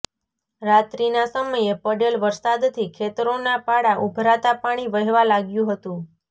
રાત્રીના સમયે પડેલ વરસાદથી ખેતરોના પાળા ઉભરાતાં પાણી વહેવા લાગ્યું હતું